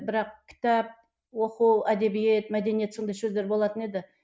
бірақ кітап оқу әдебиет мәдениет сондай сөздер болатын еді